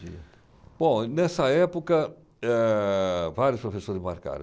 Bom, nessa época, eh, vários professores me marcaram.